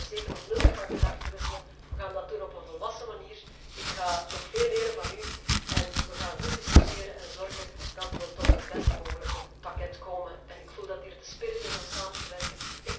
Dan kunnen we zeker nog nuttig van gedachten wisselen. Wij gaan dat doen op een volwassen manier. Ik ga nog veel van u leren en wij gaan goed discussiëren en zorgen dat wij tot het best mogelijke pakket komen en ik voel dat hier de spirit aanwezig is om samen te